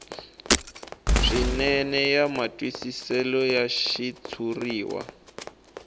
swinene ya matwisiselo ya xitshuriwa